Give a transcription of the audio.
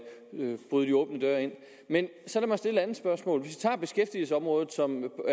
bryde de åbne døre ind men så lad mig stille et andet spørgsmål hvis vi tager beskæftigelsesområdet som